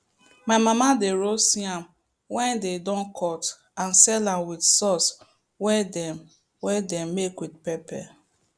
my mama dey roast yam wey dey don cut and sell am with sauce wey dem wey dem make with pepper